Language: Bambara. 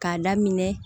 K'a daminɛ